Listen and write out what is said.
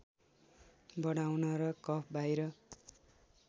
बढाउन र कफ बाहिर